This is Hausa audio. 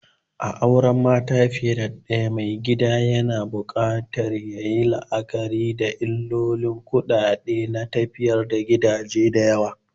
A cikin auren mata fiye da ɗaya, maigida yakan buƙaci yayi la'akari da illolin kuɗi na tafiyar gidaje da yawa.